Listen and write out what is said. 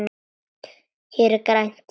Hér er grænt.